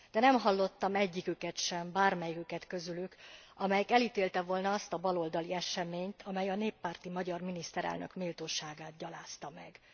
De nem hallottam egyiküket sem közülük, aki elítélte volna azt a baloldali eseményt, amely a néppárti magyar miniszterelnök méltóságát gyalázta meg.